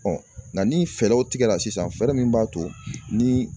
nka ni fɛɛrɛw tigɛra sisan fɛɛrɛ min b'a to ni